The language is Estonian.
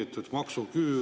Mart Maastik, palun!